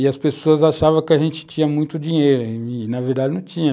E as pessoas achavam que a gente tinha muito dinheiro e, na verdade, não tinha.